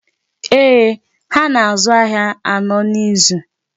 Eeh, ha na-azụ ahịa anọ n'izu.